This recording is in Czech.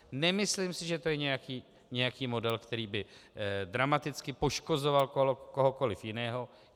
Nemyslím si, že to je nějaký model, který by dramaticky poškozoval kohokoli jiného.